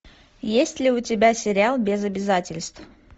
есть ли у тебя сериал без обязательств